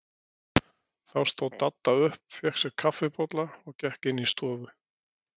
Þá stóð Dadda upp, fékk sér kaffibolla og gekk inn í stofu.